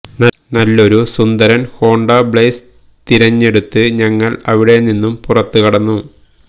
നല്ലൊരു സുന്ദരന് Honda Blaze തിരഞ്ഞെടുത്ത് ഞങ്ങള് അവിടെ നിന്നു പുറത്തു കടന്നു